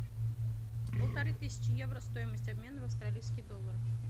полторы тысячи евро стоимость обмена в австралийские доллары